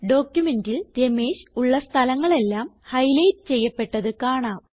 ഡോക്യുമെന്റിൽ രമേഷ് ഉള്ള സ്ഥലങ്ങളെല്ലാം ഹൈലൈറ്റ് ചെയ്യപ്പെട്ടത് കാണാം